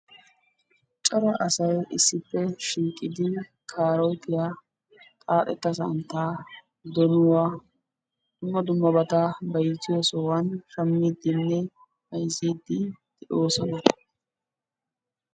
corra assay issipe shiiqidi kaarotiya, xaatta santta bayziyossani bayzidine shamidi beettosona.